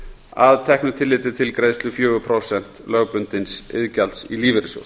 að teknu tilliti til greiðslu fjögur prósent lögbundins iðgjalds í lífeyrissjóð